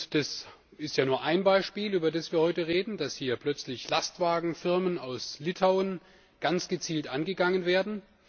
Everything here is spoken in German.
Es ist ja nur ein Beispiel, über das wir heute reden, dass hier plötzlich Lastwagenfirmen aus Litauen ganz gezielt angegangen werden.